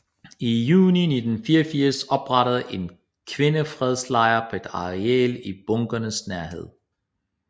I juni 1984 oprettedes en kvindefredslejr på et areal i bunkerens nærhed